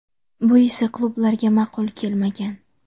Bu esa klublarga ma’qul kelmagan.